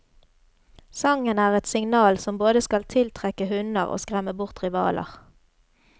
Sangen er et signal som både skal tiltrekke hunner og skremme bort rivaler.